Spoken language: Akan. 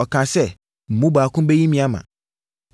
ɔkaa sɛ, “Mo mu baako bɛyi me ama.”